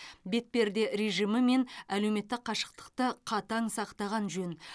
бетперде режимі мен әлеуметтік қашықтықты қатаң сақтаған жөн